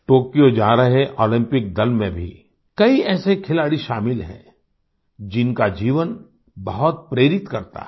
Tokyo जा रहे हमारे ओलम्पिक दल में भी कई ऐसे खिलाड़ी शामिल हैं जिनका जीवन बहुत प्रेरित करता है